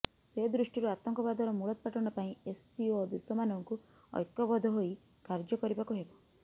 ସେ ଦୃଷ୍ଟିରୁ ଆତଙ୍କବାଦର ମୂଳୋତ୍ପାଟନ ପାଇଁ ଏସ୍ସିଓ ଦେଶମାନଙ୍କୁ ଐକ୍ୟବଦ୍ଧ ହୋଇ କାର୍ଯ୍ୟ କରିବାକୁ ହେବ